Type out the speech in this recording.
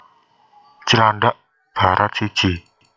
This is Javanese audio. Cilandak Barat siji